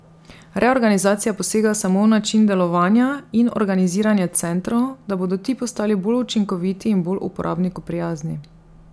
Reorganizacija posega samo v način delovanja in organiziranja centrov, da bodo ti postali bolj učinkoviti in bolj uporabniku prijazni.